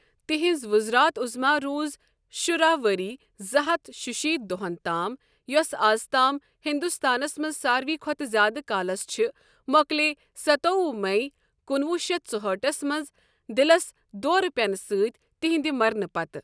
تہنٛز وزارت عظمیٰ روٗز شُراہ وری زٕ ہتھ شُشیت دۄہَن تام یۄسہِ ازتام ہندوستانس منٛز ساروی کھوتہٕ زیادٕ کالَس چھِ مۄکلے ستووُہ مئے کُنوُہ شیتھ ژُہأٹھس منٛز دِلس دورٕ پینہٕ سۭتۍ تہنٛدِ مرنہٕ پتہٕ۔